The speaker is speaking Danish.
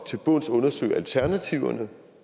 til bunds undersøge alternativerne